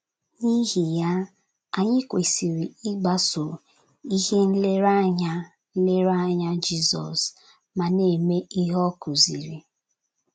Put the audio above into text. N’ihi ya, anyị kwesịrị ịgbaso ihe nlereanya nlereanya Jizọs ma na - eme ihe ọ kụziri.